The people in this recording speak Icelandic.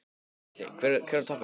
Gísli: Hver var toppurinn?